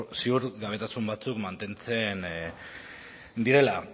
ziurgabetasun batzuk mantentzen direla